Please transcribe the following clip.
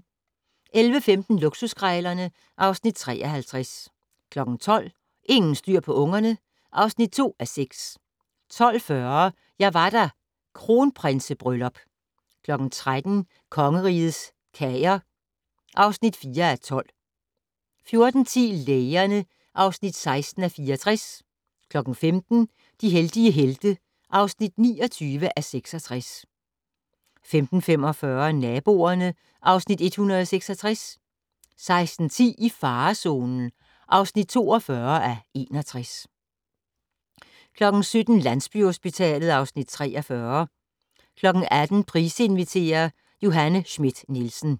11:15: Luksuskrejlerne (Afs. 53) 12:00: Ingen styr på ungerne (2:6) 12:40: Jeg var der - Kronprinsebryllup 13:00: Kongerigets Kager (4:12) 14:10: Lægerne (16:64) 15:00: De heldige helte (29:66) 15:45: Naboerne (Afs. 166) 16:10: I farezonen (42:61) 17:00: Landsbyhospitalet (Afs. 43) 18:00: Price inviterer - Johanne Schmidt-Nielsen